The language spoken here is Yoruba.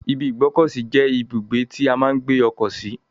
ibi ìgbọ́kọ̀sí je ibugbe ti a maa n gbe oko si.